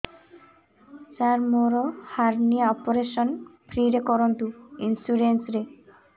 ସାର ମୋର hernia operation free ରେ କରନ୍ତୁ ଇନ୍ସୁରେନ୍ସ ରେ